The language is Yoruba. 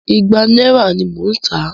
Ìgbà náírà ní mò ń tà á.